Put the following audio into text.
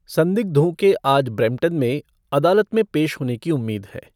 संदिग्धों के आज ब्रैम्पटन में अदालत में पेश होने की उम्मीद है।